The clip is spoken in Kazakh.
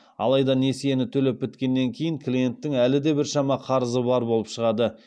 алайда несиені төлеп біткеннен кейін клиенттің әлі де біршама қарызы бар болып шығады